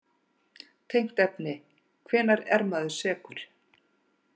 Tengt efni: Hvenær er maður sekur?